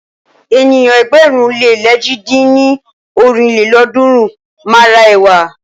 Ènìyàn ẹgbẹ̀rún le lèjì dín ní ọ́rin lélọ́ọ̀dúnrún máa ra ẹ̀wà.